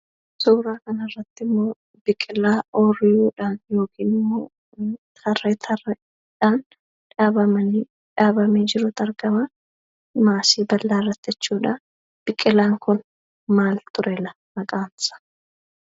Suura kanarrattimmoo biqilaa ooyiruudhaan yookiinimmoo tarree tarreedhaan dhaabamanii dhaabamee jirutu argamaa maasii bal'aarratti jechuudha. Biqilaan kun maal turela maqaansaa?